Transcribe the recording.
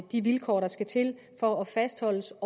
de vilkår der skal til for at fastholdes